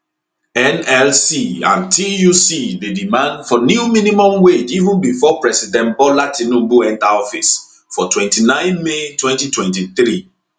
nlc and tuc dey demand for new minimum wage even bifor president bola tinubu enta office for 29 may 2023